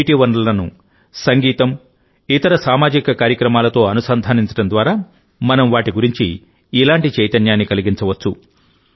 నీటి వనరులను సంగీతం ఇతర సామాజిక కార్యక్రమాలతో అనుసంధానించడం ద్వారా మనం వాటి గురించి ఇలాంటి చైతన్యాన్ని కలిగించవచ్చు